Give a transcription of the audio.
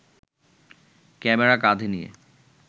camera কাঁধে নিয়ে